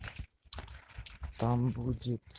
там будет